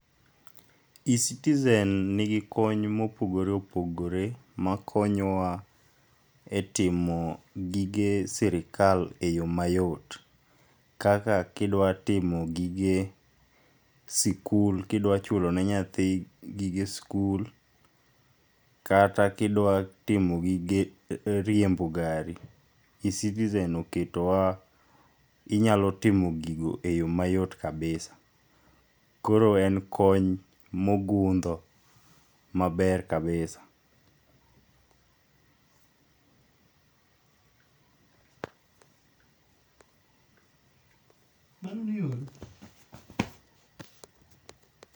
e citizen nigi kony mopogore opopore makonyo wa e timo gige sirikal e yo mayot, kaka kidwa timo gige sikul, kidwa chulo ne nyathi gige sikul, kata kidwa timo gige riembo gari ,Ecitizen oketowa inyalo timo gigo e yo mayot kabisa. Koro en kony mogundho maber kabisa.